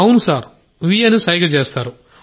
అవును సార్ వ్ అని సైగ చేస్తారు